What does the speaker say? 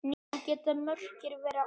Svona geta mörkin verið óljós.